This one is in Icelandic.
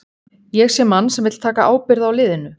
Ég sé mann sem vill taka ábyrgð á liðinu.